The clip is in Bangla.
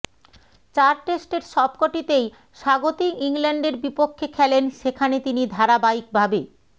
চার টেস্টের সবকটিতেই স্বাগতিক ইংল্যান্ডের বিপক্ষে খেলেন্ সেখানে তিনি ধারাবাহিকভাবে